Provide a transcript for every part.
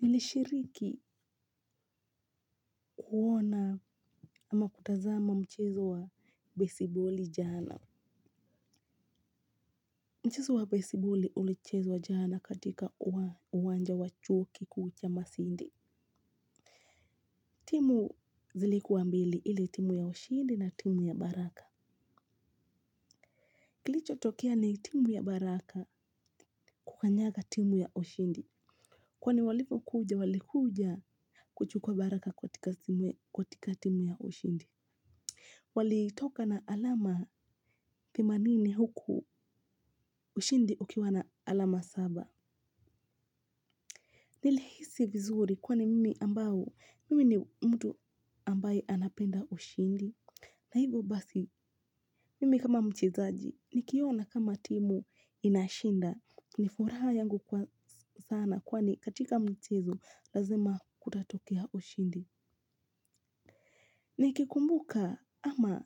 Nili shiriki kuwona ama kutazama mchezo wa besiboli jana. Mchezo wa besiboli ulichezwa jana katika uwanja wa chuo kikuu cha masinde. Timu zilikuwa mbili ile timu ya ushindi na timu ya baraka. Kilicho tokea ni timu ya baraka kukanyaga timu ya ushindi. Kwani walipokuja walikuja kuchukua baraka katika timu ya ushindi. Walitoka na alama themanini huku ushindi ukiwa na alama saba. Nilihisi vizuri kwani mimi ambao mimi ni mtu ambaye anapenda ushindi. Na hivyo basi mimi kama mchezaji nikiona kama timu inashinda. Ni furaha yangu kwa sana kwani katika mchezo lazima kutatokea ushindi. Nikikumbuka ama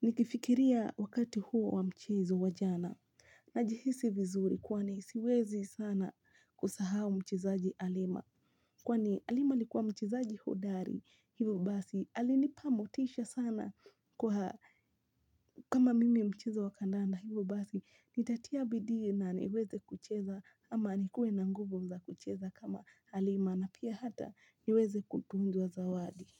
nikifikiria wakati huo wa mchezo wa jana. Na jihisi vizuri kwani siwezi sana kusahau mchezaji halima kwani halima alikuwa mchezaji hodari hivo basi alinipa motisha sana kwa kama mimi mchezo wa kandanda hivo basi nitatia bidii na niweze kucheza ama nikue na nguvu za kucheza kama halima na pia hata niweze kutunzwa zawadi.